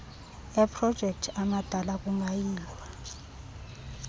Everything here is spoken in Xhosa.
eprojekthi amadana kungayilwa